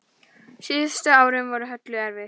Síðustu árin voru Höllu erfið.